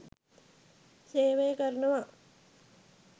සේවය කරනවා.